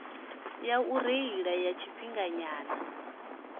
ya u reila ya tshifhinganyana